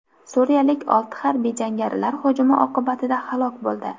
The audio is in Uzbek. Suriyalik olti harbiy jangarilar hujumi oqibatida halok bo‘ldi.